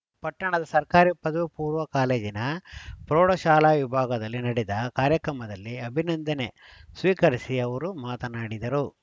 ಪಟ್ಟಣದ ಸರ್ಕಾರಿ ಪದವಿ ಪೂರ್ವ ಕಾಲೇಜಿನ ಪ್ರೌಢ ಶಾಲಾ ವಿಭಾಗದಲ್ಲಿ ನಡೆದ ಕಾರ್ಯಕ್ರಮದಲ್ಲಿ ಅಭಿನಂದನೆ ಸ್ವೀಕರಿಸಿ ಅವರು ಮಾತನಾಡಿದರು